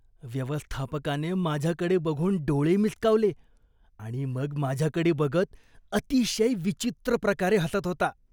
व्यवस्थापकाने माझ्याकडे बघून डोळे मिचकावले आणि मग माझ्याकडे बघत अतिशय विचित्र प्रकारे हसत होता.